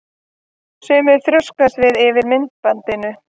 Sumir þrjóskast við yfir myndbandinu.